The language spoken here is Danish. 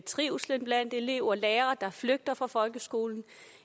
trivsel blandt elever lærere der flygter fra folkeskolen